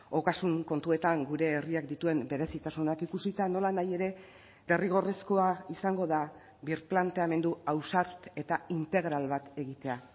ogasun kontuetan gure herriak dituen berezitasunak ikusita nolanahi ere derrigorrezkoa izango da birplanteamendu ausart eta integral bat egitea